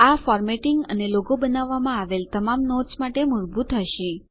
આ ફોર્મેટિંગ અને લોગો બનાવવામાં આવેલ તમામ નોટ્સ માટે મૂળભુત હશે